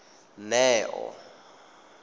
neo